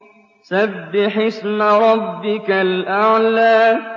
سَبِّحِ اسْمَ رَبِّكَ الْأَعْلَى